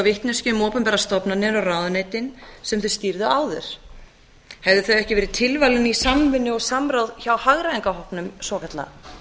vitneskju um opinberar stofnanir og ráðuneytin sem þau stýrðu áður hefðu þau ekki verið tilvalin í samvinnu og samráð hjá hagræðingarhópnum svokallaða